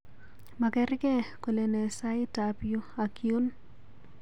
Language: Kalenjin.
Magergei kolene saitab yu ak yuun